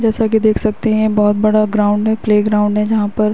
जैसा कि देख सकते हैं। ये बोहत बड़ा ग्राउंड है प्लेग्राउंड है। जहाँ पर --